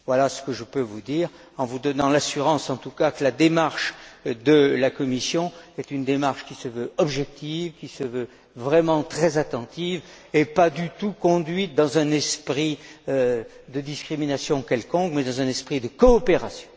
Voilà ce que je peux vous dire, en vous donnant l'assurance, en tout cas, que la démarche de la Commission est une démarche qui se veut objective, qui se veut vraiment très attentive et pas du tout conduite dans un esprit de discrimination quelconque, mais dans un esprit de coopération.